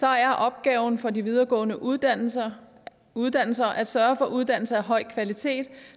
er opgaven for de videregående uddannelser uddannelser at sørge for uddannelser af høj kvalitet